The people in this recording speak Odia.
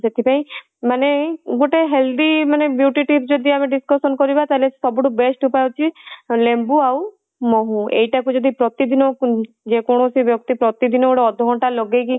ସେଥିପାଇଁ ମାନେ ଗୋଟେ healthy ମାନେ beauty tips ଯଦି ଆମେ discussion କରିବା ତାହାଲେ ସବୁ ଠୁ best ଉପାୟ ହଉଚି ଲେମ୍ବୁ ଆଉ ମହୁ ଏଇଟା କୁ ଯଦି ପ୍ରତିଦିନ ଯେକୌଣସି ବ୍ୟକ୍ତି ପ୍ରତିଦିନ ଅଧା ଘଣ୍ଟା ଲଗେଇକି